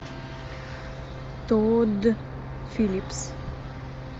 тодд филлипс